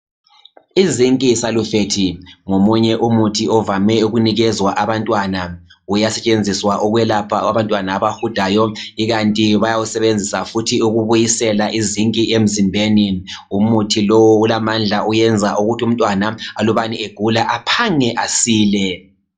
Izinki salufethi ngomunye umuthi ovame ukunikezwa abantwana. Uyasetshenziswa ukwelapha abantwana abahudayo, ikanti bayawusebenzisa futhi ukubuyisela izinki emzimbeni. Umuthi lowu ulamandla, uyenza ukuthi umntwana alubana egula, aphange asile.